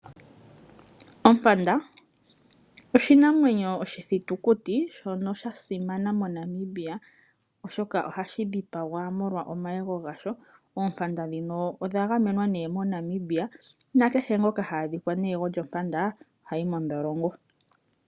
Ompanda oshinamwenyo oshithitukuti shoka shasimana moNamibia, oshoka ohashi dhipagwa molwa omayego gasho. Oompanda dhika odha gamenwa ne moNamibia nakehe ngoka ha adhika ne yego lyompanda ohayi mondholongo.